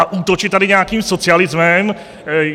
A útočit tady nějakým socialismem?